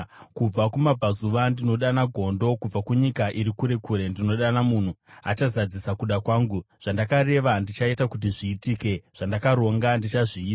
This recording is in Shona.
Kubva kumabvazuva ndinodana gondo; kubva kunyika iri kure kure ndinodana munhu achazadzisa kuda kwangu. Zvandakareva ndichaita kuti zviitike; zvandakaronga, ndichazviita.